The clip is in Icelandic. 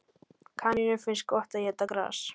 Kanínum finnst gott að éta gras.